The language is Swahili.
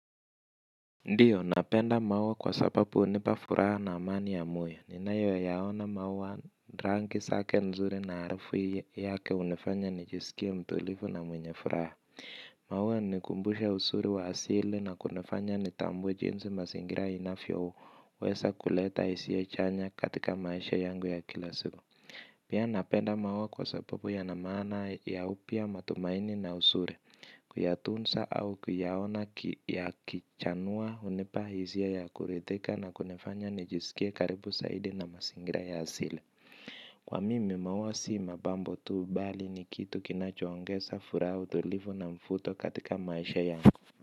Ndiyo, napenda maua kwa sapapu unipa furaha na amani ya moyo. Ninayo yaona maua ranki sake nzuri na harafu yake unifanya nijisikia mtulifu na mwenye furaha. Maua nikumbusha usuri wa asili na kunifanya nitambuwe jinsi masingira inafyo weza kuleta isia chanya katika maisha yangu ya kila siku. Pia napenda maua kwa sapapu yana maana ya upya matumaini na usuri kuyatunsa au kuyaona yakichanua hunipa hisia ya kurithika na kunifanya nijiskie karipu saidi na mzingira ya asili. Kwa mimi maua sii mabambo tuu bali ni kitu kinachuongesa furaha utulivu na mfuto katika maisha yanku.